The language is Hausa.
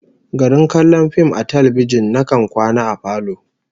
Garin kallon fim a talbijin, nakan kwana a falo